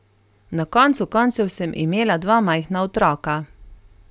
Na koncu koncev sem imela dva majhna otroka.